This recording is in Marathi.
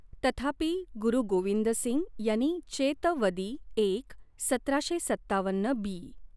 तथापि, गुरु गोविंद सिंग यांनी चेत वदी एक, सतराशे सत्तावन्न बी.